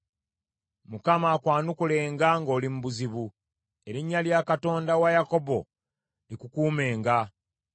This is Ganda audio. Mukama akwanukulenga ng’oli mu buzibu. Erinnya lya Katonda wa Yakobo likukuumenga.